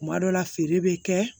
Kuma dɔ la feere bɛ kɛ